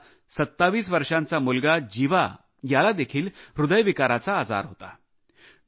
त्यांचा 27 वर्षाचा मुलगा जीवा यालादेखील हृदयविकाराचा आजार होता